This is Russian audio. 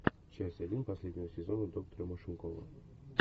часть один последнего сезона доктора машинкова